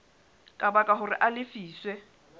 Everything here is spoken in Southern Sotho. ka baka hore a lefiswe